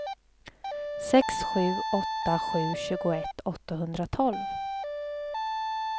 sex sju åtta sju tjugoett åttahundratolv